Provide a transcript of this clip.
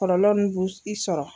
Kɔlɔlɔ nu bu i sɔrɔ.